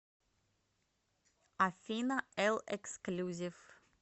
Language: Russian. афина элл эксклюзив